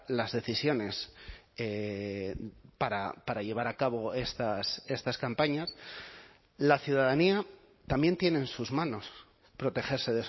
las decisiones para llevar a cabo estas campañas la ciudadanía también tiene en sus manos protegerse